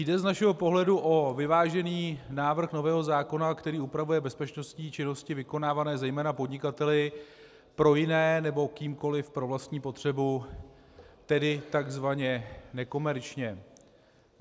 Jde z našeho pohledu o vyvážený návrh nového zákona, který upravuje bezpečnostní činnosti vykonávané zejména podnikateli pro jiné nebo kýmkoli pro vlastní potřebu, tedy tzv. nekomerčně.